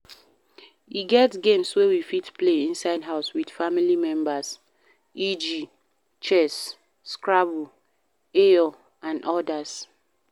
E get games wey we fit play inside house with family members eg Chess, Scrabble, eyo and odas